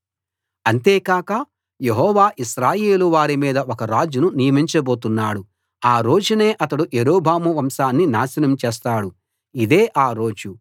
అంతేకాక యెహోవా ఇశ్రాయేలు వారి మీద ఒక రాజును నియమించబోతున్నాడు ఆ రోజునే అతడు యరొబాము వంశాన్ని నాశనం చేస్తాడు ఇదే ఆ రోజు